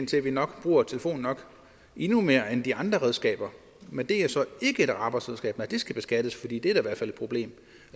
til at vi nok bruger telefonen endnu mere end de andre redskaber men det er så ikke et arbejdsredskab nej det skal beskattes